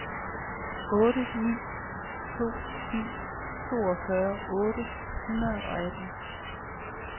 otte ni to syv toogfyrre otte hundrede og atten